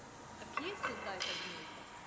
A kje so zdaj ta gnezda?